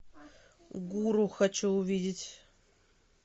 гуру хочу увидеть